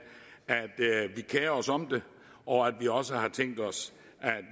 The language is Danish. at os om det og at vi også har tænkt os